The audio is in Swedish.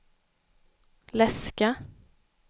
läska